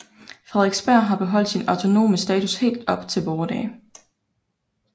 Frederiksberg har beholdt sin autonome status helt op til vore dage